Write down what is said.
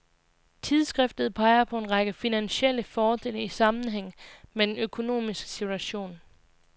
Tidsskriftet peger på en række finansielle fordele i sammenhæng med den økonomiske situation.